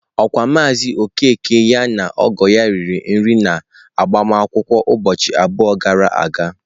Okwa maazị Okeke ya na ọgọ ya riri nri n'agbamakwụkwọ ụbọchị abụọ gara aga?